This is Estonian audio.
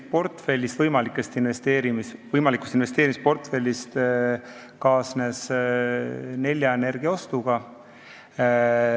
See üks osa võimalikust investeerimisportfellist kaasnes Nelja Energia ostuga.